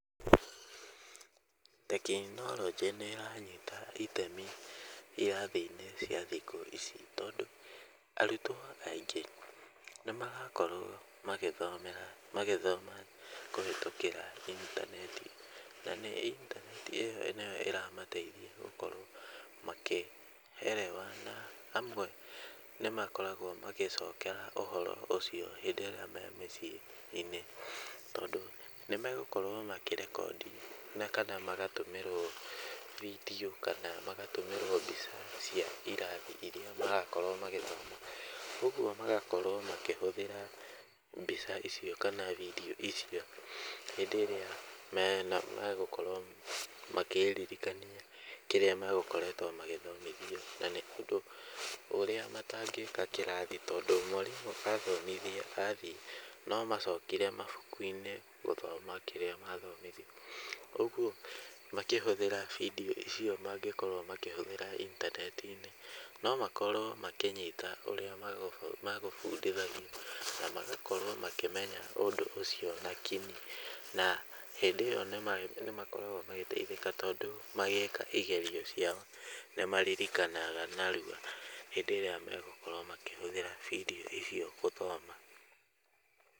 Tekinoronjĩ nĩĩranyita itemi irathi-inĩ cia thikũ ici, tondũ arutwo aingĩ nĩmarakorwo magĩthomera magĩthoma kũhũtũkĩra intaneti na nĩ intaneti ĩyo nĩyo ĩramateithia gũkorwo makĩ elewana amwe nĩmakoragwo magĩcokera ũhoro ũcio hĩndĩ ĩrĩa me mĩciĩ-inĩ, tondũ nĩmegũkorwo makĩrekondi na kana magatũmĩrwo bindiũ kana magatũmĩrwo mbica cia irathi irĩa marakorwo magĩthoma, ũguo magakorwo makĩhũthĩra mbica icio kana bindiũ icio hĩndĩ ĩrĩa me na megũkorwo makĩririkania kĩrĩa megũkoretwo magĩthomithio na nĩ tondũ ũrĩa matangĩka kĩrathi tondũ mwarimũ athomithia athiĩ no macokire mabuku-inĩ gũthoma kĩrĩa mathomithio, ũguo makĩhũthĩra bindiũ icio mangĩkorwo makĩhũthĩra intaneti-inĩ, no makorwo makĩnyita ũrĩa makũbundithagio na magakorwo makĩmenya ũndũ ũcio na kinyi, na hĩndĩ ĩyo nĩmakoragwo magĩteithĩka, tondũ magĩka igerio ciao nĩmaririkanaga narua, hĩndĩ ĩrĩa megũkorwo makĩhũthĩra bindiũ icio gũthoma.